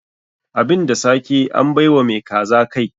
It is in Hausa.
Abin da sake, an bai wa mai kaza kai.